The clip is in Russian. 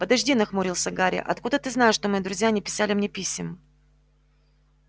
подожди нахмурился гарри а откуда ты знаешь что мои друзья не писали мне писем